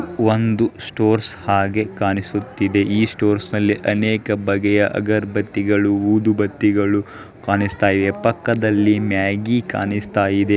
ಒಂದು ಸ್ಟೋರ್ಸ್ ಹಾಗೆ ಕಾಣಿಸ್ತಾ ಇದೆ ಈ ಸ್ಟೋರ್ಸ್ನಲ್ಲಿ ಅನೇಕ ಬಗೆಯ ಅಗರಬತ್ತಿಗಳ ಊದುಬತ್ತಿಗಳು ಕಾಣಿಸ್ತಾಇವೆ. ಪಕ್ಕದಲ್ಲಿ ಮ್ಯಾಗಿ ಕಾಣುಸ್ತಾ ಇದೆ.